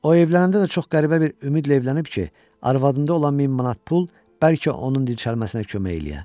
O evlənəndə də çox qəribə bir ümidlə evlənib ki, arvadında olan 1000 manat pul bəlkə onun dirçəlməsinə kömək eləyə.